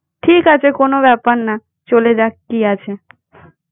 ঠিক আছে কোনো ব্যাপার না। চলে যাক কি আছে?